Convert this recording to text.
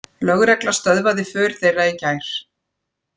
Lögregla stöðvaði för þeirra í gær